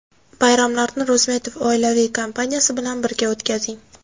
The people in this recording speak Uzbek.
Bayramlarni Rozmetov oilaviy kompaniyasi bilan birga o‘tkazing.